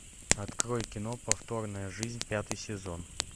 открой кино повторная жизнь пятый сезон